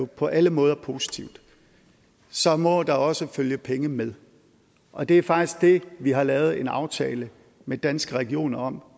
på alle måder positivt så må der også følge penge med og det er faktisk det vi har lavet en aftale med danske regioner om